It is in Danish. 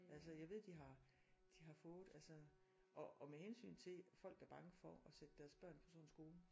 Altså jeg ved de har de har fået altså og og med hensyn til folk er bange for at sætte deres børn på sådan en skole